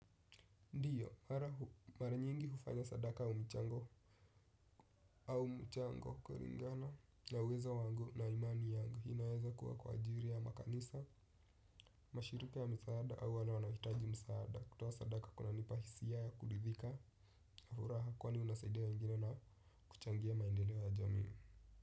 Ndiyo, mara nyingi hufanya sadaka au michango au mchango kulingana na uwezo wangu na imani yangu inaweza kuwa kwa ajili ya makanisa, mashirulika ya misaada au wale wanahitaji misaada kutoa sadaka kuna nipahisi ya ya kulidhika, hafura hakuwa ni unasaide wa ingine na kuchangia maindelewa ya jami.